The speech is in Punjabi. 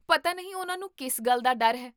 ਪਤਾ ਨਹੀਂ ਉਹਨਾਂ ਨੂੰ ਕਿਸ ਗੱਲ ਦਾ ਡਰ ਹੈ